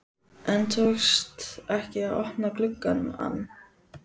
En tókst ekki að opna glugg ann.